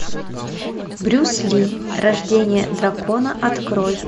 брюс ли рождение дракона открой